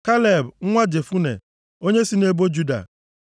Kaleb nwa Jefune, onye si nʼebo Juda.